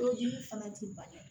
Kojugu fana ti ban